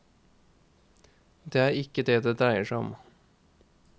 Det er ikke det det dreier seg om.